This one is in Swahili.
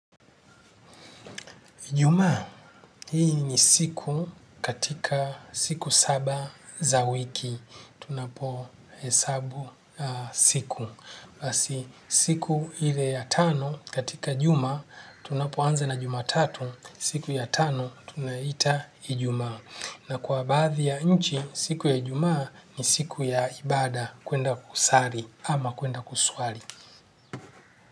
Jumaa, hii ni siku katika siku saba za wiki, tunapo hesabu siku. Basi siku ile ya tano katika juma, tunapoanza na jumatatu, siku ya tano tunaiita ijuma. Na kwa baadhi ya nchi, siku ya ijumaa ni siku ya ibada, kuenda kusali ama kuenda kuswali.